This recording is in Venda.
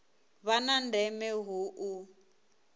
vha na ndeme hu u